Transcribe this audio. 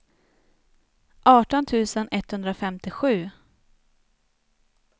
arton tusen etthundrafemtiosju